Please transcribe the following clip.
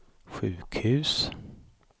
sjukhus